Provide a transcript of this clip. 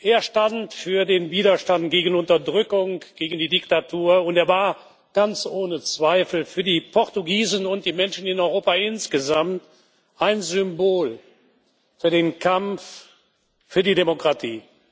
Er stand für den Widerstand gegen Unterdrückung, gegen die Diktatur, und er war ganz ohne Zweifel für die Portugiesen und die Menschen in Europa insgesamt ein Symbol für den Kampf für die Demokratie.